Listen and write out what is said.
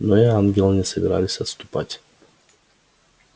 но и ангелы не собирались отступать